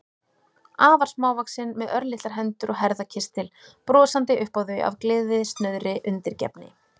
Afar smávaxin, með örlitlar hendur og herðakistil, brosandi upp á þau af gleðisnauðri undirgefni.